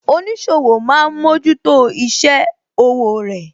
Oníṣòwò máa ń mójútó isẹ òwò rẹ